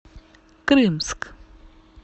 крымск